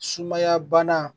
Sumaya bana